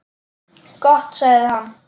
Gott sagði hann.